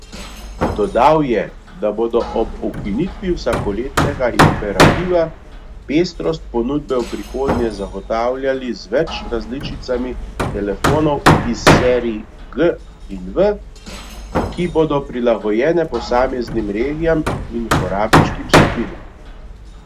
Dodal je, da bodo ob ukinitvi vsakoletnega imperativa pestrost ponudbe v prihodnje zagotavljali z več različicami telefonov iz serij G in V, ki bodo prilagojene posameznim regijam in uporabniškim skupinam.